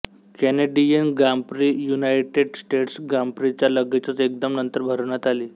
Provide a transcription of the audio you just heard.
Canadian grand prix United States ग्रांप्रीच्या लगेचच एकदम नंतर भरवण्यात आली